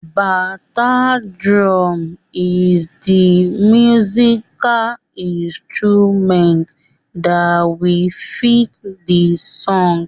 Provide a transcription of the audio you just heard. Bata drum is the musical instrument that will fit the song.